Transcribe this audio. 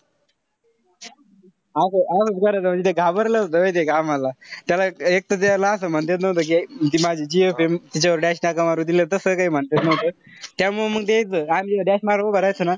असं करायचा म्हणजे ते घाबरला होता माहितीये का आम्हाला. त्याला एक त त्याला असं म्हणता येत नव्हतं कि जी माझी gf ए तिच्यावर dash का मारू दिल. तस त काई म्हणता येत नव्हतं. त्यामुळं त्यामुळे मंग ते यायचं. आम्ही dash मारायला उभं राहायचो ना,